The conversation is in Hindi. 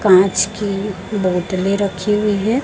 कांच की बोतलें रखी हुई है।